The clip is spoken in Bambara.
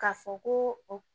K'a fɔ ko o